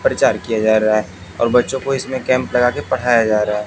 प्रचार किया जा रहा है और बच्चों को इसमें कैम्प लगा कर पढ़ाया जा रहा है।